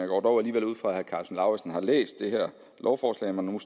går dog alligevel ud fra at herre karsten lauritzen har læst det her lovforslag når nu